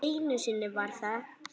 Einu sinni var það